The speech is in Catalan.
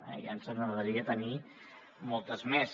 ja ens agradaria tenir ne moltes més